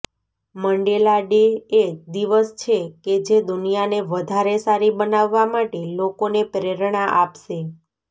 Mandela Day એ દિવસ છે કે જે દુનિયાને વધારે સારી બનાવવા માટે લોકોને પ્રેરણા આપશે